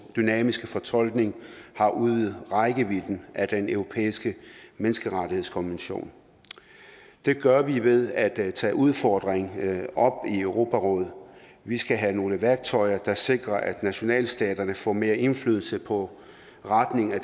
dynamiske fortolkning har udvidet rækkevidden af den europæiske menneskerettighedskonvention det gør vi ved at tage udfordringen op i europarådet vi skal have nogle værktøjer der sikrer at nationalstaterne får mere indflydelse på retningen af